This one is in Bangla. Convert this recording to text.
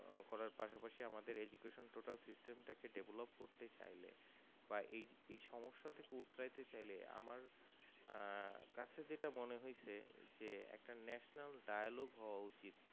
ও করার পাস পাশি eduction এর total system টা কে develop করতে চাইলে বা এই সম্যসা থেকে উৎরাইতে চাইলে আহ কাছে যেটা মনে হয়েছে যে একটা National-dialogue হওয়া উচিত